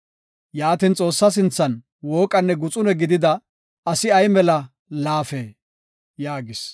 Yaatin, Xoossaa sinthan wooqanne guxune gidida asi ay mela laafee?” yaagis.